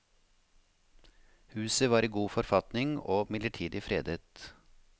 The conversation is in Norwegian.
Huset var i god forfatning og midlertidig fredet.